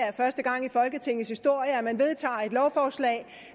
er første gang i folketingets historie at man vedtager et lovforslag